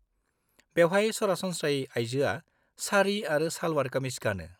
बेवहाय सरासनस्रायै आइजोआ सारी आरो सालवार कामिज गानो।